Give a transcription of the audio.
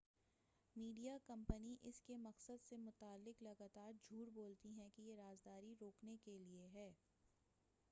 Media کمپنیاں اس کے مقصد سے متعلق لگاتار جھوٹ بولتی ہیں کہ یہ"رازداری روکنے کیلئے ہے۔